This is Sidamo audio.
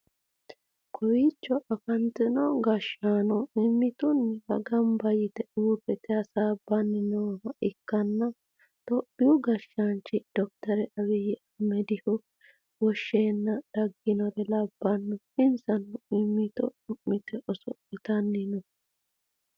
kowiicho afantino gashshaano mimmitunniwa ganba yite uurrite hasaabbanni nooha ikkanna, itophiyu gashaanchi dokiteri abbiyyi ahimedihu wosheenna dagginore labbanno, insano mimmito cu'mite oso'litanni no.